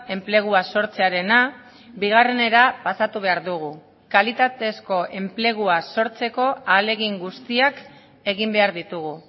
enplegua sortzearena bigarrenera pasatu behar dugu kalitatezko enplegua sortzeko ahalegin guztiak egin behar ditugu